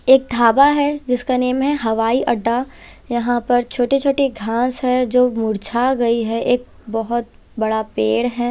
एक धाबा हैजिसका नाम हैहवाई अड्डा यहां पर छोटी-छोटी घास है जो मुरछा गई है एक बहुत बड़ा पेड़ है।